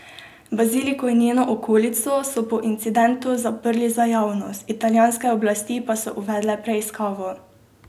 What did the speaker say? Baziliko in njeno okolico so po incidentu zaprli za javnost, italijanske oblasti pa so uvedle preiskavo.